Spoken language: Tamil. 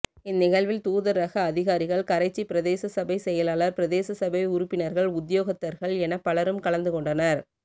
இந்நிகழ்வில் தூதரக அதிகாரிகள் கரைச்சி பிரதேச சபை செயலாளர் பிரதேச சபை உறுப்பினர்கள் உத்தியோகத்தர்கள் எனப் பலரும் கலந்துகொண்டனர்